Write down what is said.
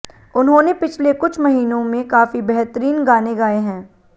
उन्होंने पिछले कुछ महीनों में काफी बेहतरीन गाने गाए हैं